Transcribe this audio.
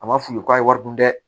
A ma f'u ye k'a ye wari dun dɛ